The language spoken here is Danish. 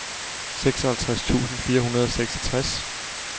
seksoghalvtreds tusind fire hundrede og seksogtres